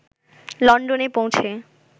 লন্ডনে পৌঁছে